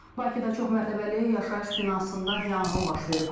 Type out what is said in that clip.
Bakıda çoxmərtəbəli yaşayış binasında yanğın baş verib.